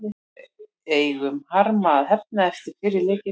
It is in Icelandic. Við eigum harma að hefna eftir fyrri leikinn.